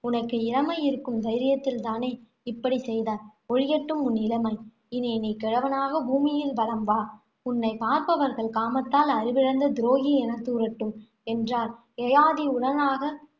உனக்கு இளமை இருக்கும் தைரியத்தில் தானே இப்படி செய்தாய். ஒழியட்டும் உன் இளமை. இனி நீ கிழவனாக பூமியில் வலம் வா உன்னைப் பார்ப்பவர்கள் காமத்தால் அறிவிழந்த துரோகி என தூறட்டும், என்றார். யயாதி உடனாக